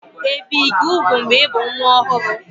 Ebì gị úgwù mgbe ị bụ nwa ọhụrụ?